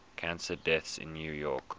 cancer deaths in new york